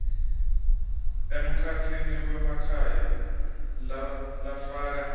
emkhatsini kwemakhaya lafaka